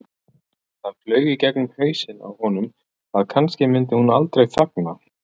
Það flaug í gegnum hausinn á honum að kannski myndi hún aldrei þagna.